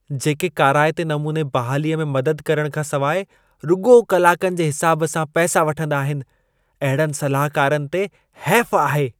जेके काराइते नमूने बहालीअ में मदद करण खां सवाइ रुॻो कलाकनि जे हिसाबु सां पैसा वठंदा आहिनि , अहिड़नि सलाहकारनि ते हैफ़ु आहे।